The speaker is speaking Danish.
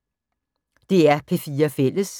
DR P4 Fælles